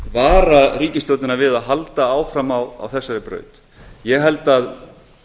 vara ríkisstjórnina við að halda áfram á þessari braut ég held að